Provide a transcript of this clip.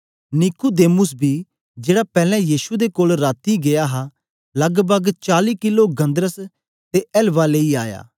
Nicodemus बी जेड़ा पैलैं यीशु दे कोल राती गीया हा लगभग चाली किलो गन्धरस ते एलवा लेई आया